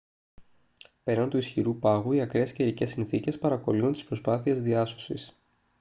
πέραν του ισχυρού πάγου οι ακραίες καιρικές συνθήκες παρακωλύουν τις προσπάθειες διάσωσης